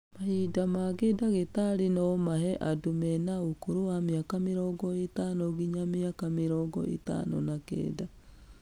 Mahĩnda mangĩ ndagĩtarĩ no mahe andũ mena ũkũrũ wa mĩaka mĩrongo ĩtano gĩnya mĩaka mĩrongo ĩtano na kenda.